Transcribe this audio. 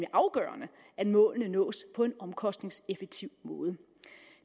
afgørende at målene nås på en omkostningseffektiv måde